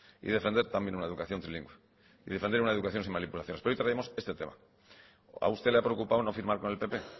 y defender también una educación trilingüe y defender una educación sin manipulaciones pero hoy traemos este tema a usted le ha preocupado no firmar con el pp